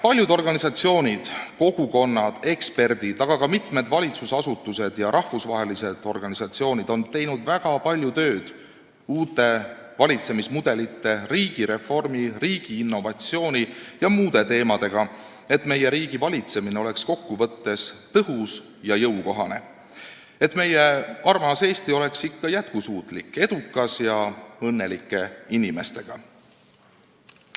Paljud organisatsioonid, kogukonnad, eksperdid, aga ka mitmed valitsusasutused ja rahvusvahelised organisatsioonid on teinud väga palju tööd uute valitsemismudelite, riigireformi, riigi innovatsiooni ja muude teemadega, et meie riigi valitsemine oleks kokkuvõttes tõhus ja jõukohane, et meie armas Eesti oleks ikka jätkusuutlik ja edukas ning siin elaksid õnnelikud inimesed.